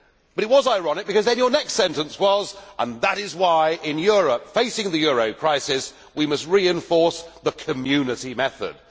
It was ironic because his next sentence was and that is why in Europe, facing the euro crisis, we must reinforce the Community method'.